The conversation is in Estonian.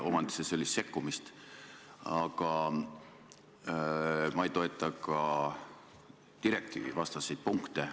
Mina ka ei toeta sellist sekkumist omandiõigusse, aga ma ei toeta ka direktiivivastaseid punkte.